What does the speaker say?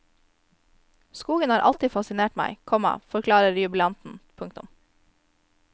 Skogen har alltid fascinert meg, komma forklarer jubilanten. punktum